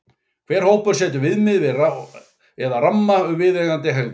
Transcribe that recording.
Hver hópur setur viðmið eða ramma um viðeigandi hegðun.